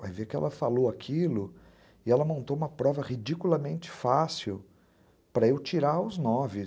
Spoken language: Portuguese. Vai ver que ela falou aquilo e ela montou uma prova ridiculamente fácil para eu tirar os nove.